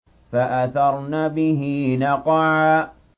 فَأَثَرْنَ بِهِ نَقْعًا